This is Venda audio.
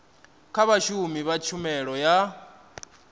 kha vhashumi vha tshumelo ya